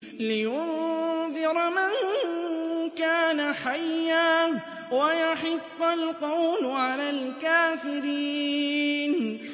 لِّيُنذِرَ مَن كَانَ حَيًّا وَيَحِقَّ الْقَوْلُ عَلَى الْكَافِرِينَ